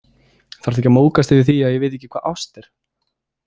Þarft ekki að móðgast yfir því að ég viti ekki hvað ást er.